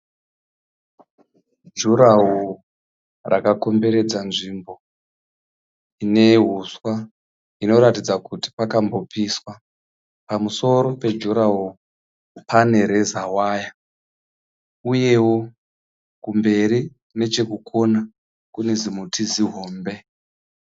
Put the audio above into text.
Juraho rakakomberedza nzvimbo ine huswa inoratidza kuti pakambopiswa pamusoro pejuraho pane rezawaya, uyewo kumberi nechekukona kunezimuti zihombe.